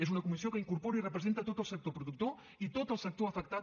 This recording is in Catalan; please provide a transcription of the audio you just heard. és una comissió que incorpora i representa tot el sector productor i tot el sector afectat